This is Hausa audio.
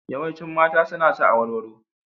Yawancin mata suna sa awarwaro.